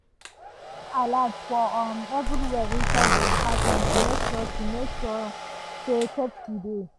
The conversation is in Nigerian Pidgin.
e fix smoke alarm for um everywhere inside the apartment to make sure to make sure say safety dey.